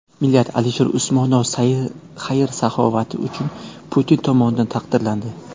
Milliarder Alisher Usmonov xayr-saxovati uchun Putin tomonidan taqdirlandi.